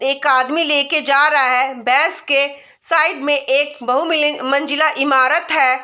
एक आदमी लेके जा रहा है भैंस के साइड में एक बहु मिली मंजिला इमारत है ।